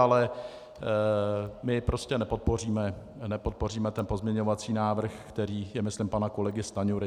Ale my prostě nepodpoříme ten pozměňovací návrh, který je myslím pana kolegy Stanjury.